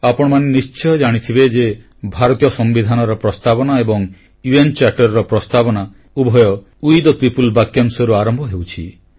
ଆପଣମାନେ ନିଶ୍ଚୟ ଜାଣିଥିବେ ଯେ ଭାରତୀୟ ସମ୍ବିଧାନର ପ୍ରସ୍ତାବନା ଏବଂ ମିଳିତ ଜାତିସଂଘର ପ୍ରସ୍ତାବନା ଉଭୟ ୱେ ଥେ ପିଓପଲ୍ ବାକ୍ୟାଂଶରୁ ଆରମ୍ଭ ହେଉଛି